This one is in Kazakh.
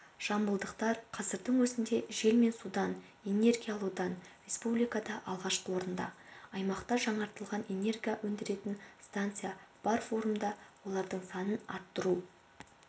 жамбылдықтар қазірдің өзінде жел мен судан энергия алудан республикада алғашқы орында аймақта жаңартылған энергия өндіретін станция бар форумда олардың санын арттыру